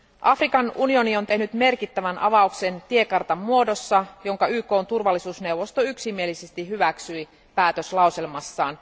Afrikan unioni on tehnyt merkittävän avauksen tiekartan muodossa, jonka YKn turvallisuusneuvosto yksimielisesti hyväksyi päätöslauselmassaan.